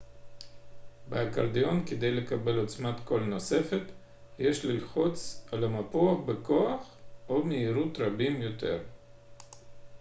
באקורדיון כדי לקבל עוצמת קול נוספת יש ללחוץ על המפוח בכוח או מהירות רבים יותר